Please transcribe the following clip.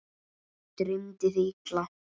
Dreymdi þig illa?